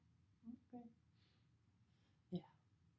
Ja